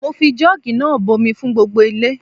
Mo fi joogi náà bomi fún gbogbo ilé.